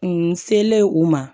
N selen u ma